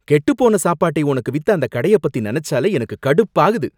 கெட்டுப்போன சாப்பாட்டை உனக்கு வித்த அந்த கடைய பத்தி நனைச்சாலே எனக்கு கடுப்பாகுது.